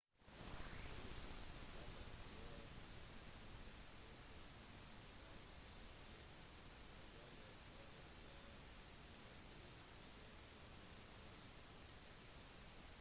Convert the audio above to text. på 60-tallet dro han tilbake til det nylig selvstendige algerie for å undervise i filmregissering